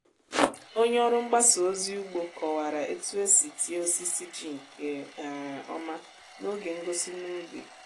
onye ọrụ mgbasa ozi ugbo kọwara otu esi tie osisi ji nke um ọma n’oge ngosi n’ubi.